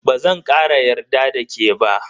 Bazan kara yarda da ke ba.